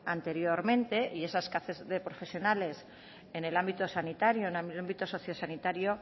anteriormente y esa escasez de profesionales en el ámbito sociosanitario